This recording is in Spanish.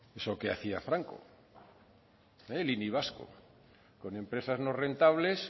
eso que hacía franco eh el ini vasco con empresas no rentables